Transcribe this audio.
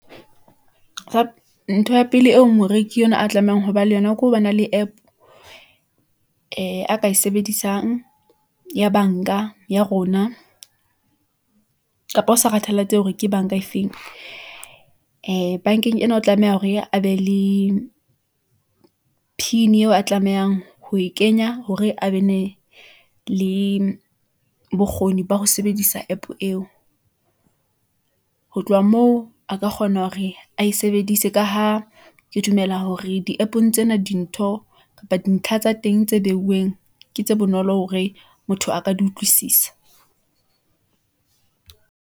ntho ya pele eo moreki yenwa a tlamehang ho ba le yona, ke ha ba na le app ee a ka e sebedisang ya bank-a ya rona , kapa ho sa kgathalatsehe hore ke bank-a efeng , ee bank-eng ena, o tlameha hore a be le pin eo a tlamehang ho e kenya, hore a be ne le bokgoni ba ho sebedisa app eo , ho tloha moo a ka kgona hore ae sebedise, ka ha ke dumela hore di-app-ong tsena dintho kapa dintlha tsa teng tse beuweng , ke tse bonolo hore motho a ka di utlwisisa.